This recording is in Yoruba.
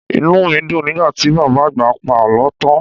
Inú mi dùn nígbà tí Bàbá Àgbà pa àlọ́ tán.